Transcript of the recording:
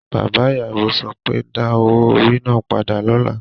Bàbá ìyàwó so pé, Da owó orí náà padà lọ́la!